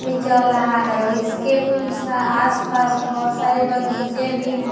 भी चल रहा है इसके आस-पास बहुत सारे बगीचे भी है।